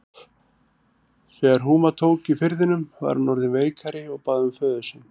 Þegar húma tók í firðinum var hún orðin veikari og bað um föður sinn.